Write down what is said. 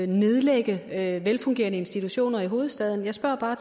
nedlægge velfungerende institutioner i hovedstaden jeg spørger bare